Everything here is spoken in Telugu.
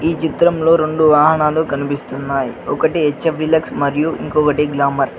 ఈ చిత్రంలో రొండు వాహనాలు కనిపిస్తున్నాయి ఒకటి హెచ్_ఎఫ్ డీలక్స్ మరియు ఇంకొకటి గ్రామర్